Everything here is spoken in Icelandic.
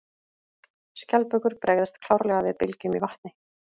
Skjaldbökur bregðast klárlega við bylgjum í vatni.